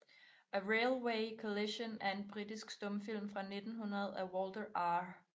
A Railway Collision er en britisk stumfilm fra 1900 af Walter R